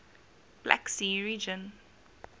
black sea region